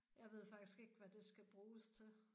Jeg ved faktisk ikke hvad det skal bruges til